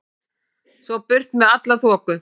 Svo burt með alla þoku.